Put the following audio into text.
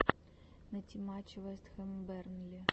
найти матч вест хэм бернли